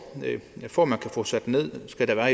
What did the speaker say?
for at man kan få sat den ned skal der